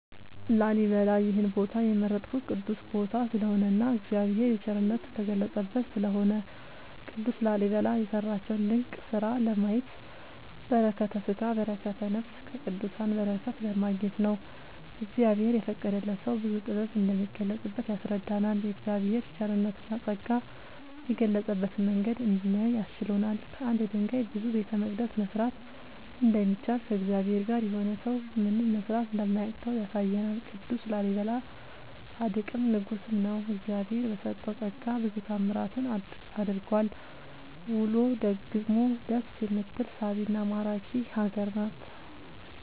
ላሊበላ ይሄን ቦታ የመረጥኩት ቅዱስ ቦታ ስለሆነ እና እግዚአብሔር የቸርነት የተገለፀበት ስለሆነ። ቅዱስ ላሊበላ የሰራቸውን ድንቅ ስራ ለማየት በረከተስጋ በረከተ ነፍስ ከቅዱሳን በረከት ለማግኘት ነው። እግዚአብሔር የፈቀደለት ሰው ብዙ ጥበብ እንደሚገለፅበት ያስረዳናል የእግዚአብሔር ቸርነትና ፀጋ የገለፀበትን መንገድ እንድናይ አስችሎናል። ከአንድ ድንጋይ ብዙ ቤተመቅደስ መስራት እንደሚቻል ከእግዚአብሔር ጋር የሆነ ሰው ምንም መስራት እንደማያቅተው ያሳየናል ቅዱስ ላሊበላ ፃድቅም ንጉስም ነው። እግዚአብሄር በሰጠው ፀጋ ብዙ ታዕምራትን አድርጓል ውሎ ደግሞ ደስ የምትል ሳቢና ማራኪ ሀገር ናት።…ተጨማሪ ይመልከቱ